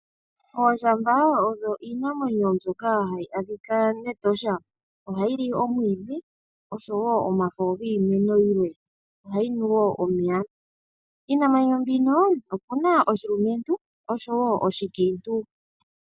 Oondjamba odho iinamwenyo mbyoka hayi adhika mEtosha, ohayi li omwiidhi oshowo omafo giimeno yilwe, ohayi nu wo omeya. Iinamwenyo mbino opu na oshilumentu oshowo oshikiintu.